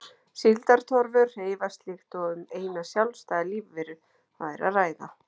Síldartorfur hreyfast líkt og um eina sjálfstæða lífveru væri að ræða.